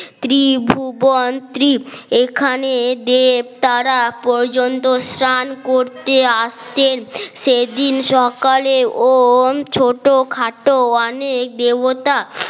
ত্রিভুবান এখানে দেব তারা পর্যন্ত স্নান করতে আসতেন সেদিন সকালে ও ছোটখাটো অনেক দেবতা